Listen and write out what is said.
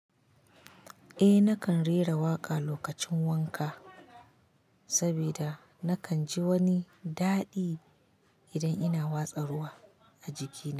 Eh nakan rera waƙa lokacin wanka saboda nakan ji wani daɗi idan ina watsa ruwa a jikina.